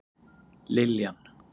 Liljan